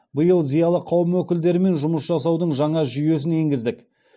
биыл зиялы қауым өкілдерімен жұмыс жасаудың жаңа жүйесін енгіздік